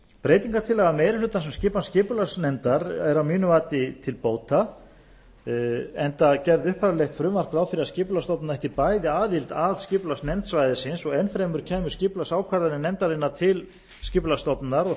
breytingartillaga meiri hlutans um skipan skipulagsnefndar er að mínu mati til bóta enda gerði upphaflegt frumvarp ráð fyrir að skipulagsstofnun ætti bæði aðild að skipulagsnefnd svæðisins og enn fremur kæmu skipulagsákvarðanir nefndarinnar til skipulagsstofnunar og það